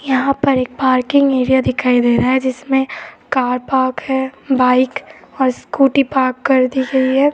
यहाँ पर एक पार्किंग एरिया दिखाई दे रहा है जिसमे कार पार्क है बाइक और स्कूटी पार्क कर दी गयी है।